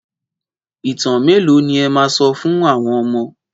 Ìtàn mélòó ni ẹ máa sọ fún àwọn ọmọ?